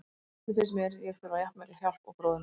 Stundum finnst mér ég þurfa jafn mikla hjálp og bróðir minn.